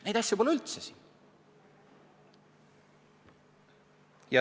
Neid asju pole siin üldse!